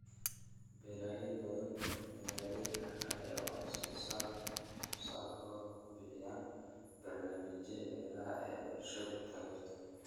Beeraley badan oo beeraley ah ayaa wax soo saarkooda ku iibiya barnaamijyada beeraha ee bulshadu taageerto.